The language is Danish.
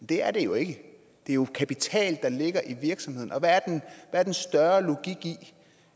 det er det jo ikke det er jo kapital der ligger i virksomheden og hvad er den større logik i